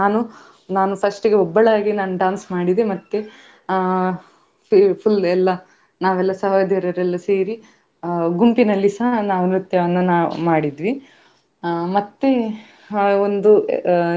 ಕೇವಲ ಪ್ರಾಣಿಸಂಗ್ರಹಾಲಯ ಅಂದ ಕೂಡ್ಲೇ ಖಾಲಿ ಅದೇ ಇರುದಿಲ್ಲಾ ನಮ್ಮ ಇದು ಬೇರೆಸ ಎಲ್ಲ ವಿಜ್ಞಾನದ ಬಗ್ಗೆ ಆ ಎಲ್ಲಾ ಇತ್ತು ಅಲ್ಲಿ ಮಾಹಿತಿ ಕೊಟ್ಟಿದ್ರು. ಅದೇ ನಮ್ಗೆ ಅಲ್ಲಿ ತುಂಬಾ ಬೆಳ್ಳಿಗ್ಗೆಯಿಂದ ಸಂಜೆಯವರೆಗೆ ತುಂಬಾ ಖುಷಿಯಿಂದ ನಾವ್ ಅಲ್ಲಿ ಇದ್ವಿ.